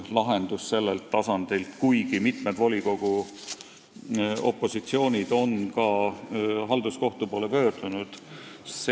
Lahendust sellelt tasandilt tulnud ei ole, kuigi mitme volikogu opositsioon on ka halduskohtusse pöördunud.